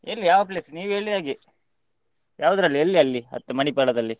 ಎಲ್ಲಿ ಯಾವ place ನೀವು ಹೇಳಿದ ಹಾಗೆ ಯಾವುದ್ರಲ್ಲಿ ಎಲ್ಲಿ ಅಲ್ಲಿ Manipal ದಲ್ಲಿ?